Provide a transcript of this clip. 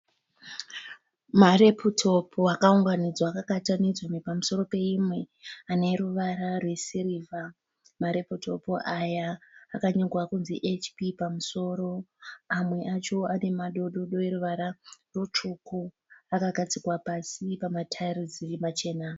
Mareputopu akaunganidzwa akabatanidzwa pamusoro peimwe. Ane ruvara rwesirivha. Mareputopu aya akanyorwa kunzii HP pamusoro. Amwe acho ane madododo eruvara rutsvuku. Akagadzikwa pasi pamatairozi machena.